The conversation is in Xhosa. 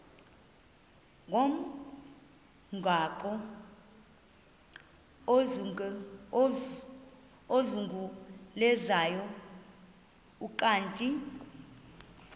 ngomgaqo ozungulezayo ukanti